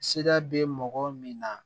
Sira be mɔgɔ min na